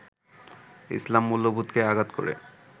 ইসলাম মূল্যবোধকে আঘাত করে